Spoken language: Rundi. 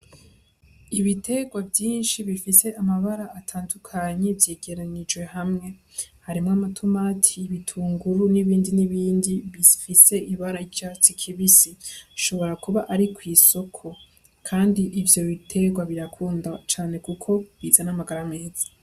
Ibitegwa vyinshi bifise amabara atandukanye vyegeranirijwe ahantu hamwe, harimwo ama tomati ibitungiru nibindi nibindi bifise ibara ry'icatsi kibisi bishobora kuba ari kwisoko kandi ivyo bitegwa birakundwa cane kuko bizana amagara meza.